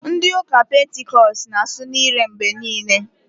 Ndị ụka Pentikọst na- asụ n'ire mgbe niile.